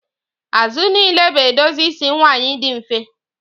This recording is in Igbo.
Azụ niile bụ edozi isi nwanyị dị mfe